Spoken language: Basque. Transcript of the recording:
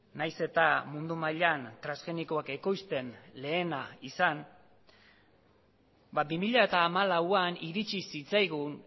nahiz eta mundu mailan transgenikoak ekoizten lehena izan bi mila hamalauan iritsi zitzaigun